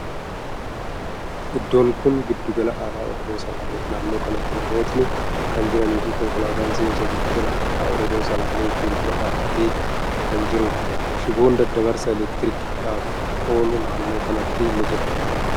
Iddoon kuni giddugala aadaa Oromoo Salaaleeti. Naannoo kanatti namootni kan jiranii fi konkolaatan seensa giddugala aadaa Oromoo Salaalee fuuldura dhaabbatee kan jiruudha. Shiboon daddabarsa elektiriikidhaaf oolu naannoo kanatti ni jira.